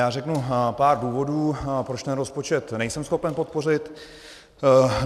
Já řeknu pár důvodů, proč ten rozpočet nejsem schopen podpořit.